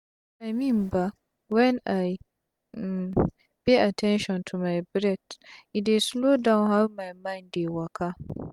i mean ba when i um pay at ten tion to my breath e dey slow down how my mind dey waka